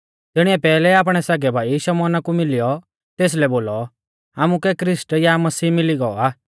तिणीऐ पैहलै आपणै सगै भाई शमौना कु मिलियौ तेसलै बोलौ आमुकै ख्रिस्ट या मसीह मिली गौ आ